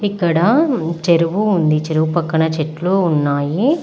ఇక్కడా చెరువు ఉంది. చెరువు పక్కన చెట్లు ఉన్నాయి.